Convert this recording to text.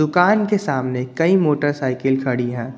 दुकान के सामने कई मोटरसाइकिल खड़ी है।